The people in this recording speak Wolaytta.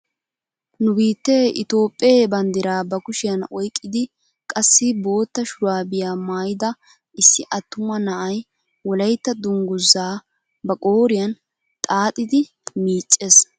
Nu biittee itoophphee bandiraa ba kushiyaan oyqqidi qassi bootta shuraabiyaa maayida issi attuma na'ay wolaytta dunguzaa ba qooriyaan xaaxidi miiccees!